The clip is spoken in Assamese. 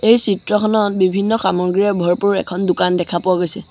এই চিত্ৰখনত বিভিন্ন সামগ্ৰীয়ে ভৰপুৰ এখন দোকান দেখা গৈছে।